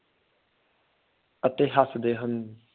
ਅਤੇ ਹੱਸਦੇ ਹਨ।